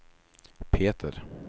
Peter